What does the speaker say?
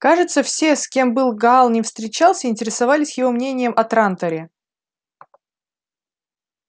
кажется все с кем был гаал ни встречался интересовались его мнением о транторе